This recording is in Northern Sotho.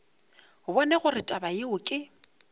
bone gore taba yeo ke